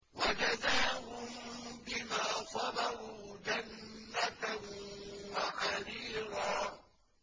وَجَزَاهُم بِمَا صَبَرُوا جَنَّةً وَحَرِيرًا